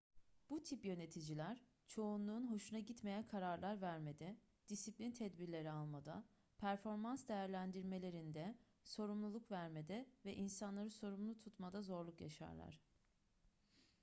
bu tip yöneticiler çoğunluğun hoşuna gitmeyen kararlar vermede disiplin tedbirleri almada performans değerlendirmelerinde sorumluluk vermede ve insanları sorumlu tutmada zorluk yaşarlar